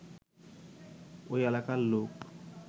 ওই এলাকার লোক